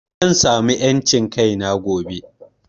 Zan samu en cin kaina gobe